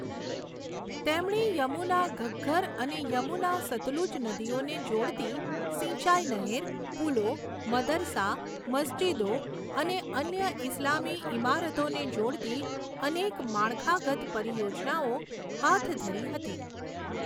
તેમણે યમુના ઘગ્ગર અને યમુના સતલુજ નદીઓને જોડતી સિંચાઈ નહેર, પુલો, મદરસા, મસ્જિદો અને અન્ય ઇસ્લામી ઇમારતોને જોડતી અનેક માળખાગત પરિયોજનાઓ હાથ ધરી હતી.